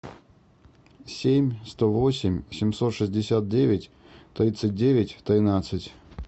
семь сто восемь семьсот шестьдесят девять тридцать девять тринадцать